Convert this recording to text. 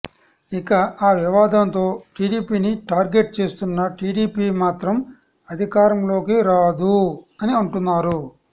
ఇక ఆ వివాదంతో టీడీపీని టార్గెట్ చేస్తున్న టీడీపీ మాత్రం అధికారంలోకి రాదూ అని అంటున్నారు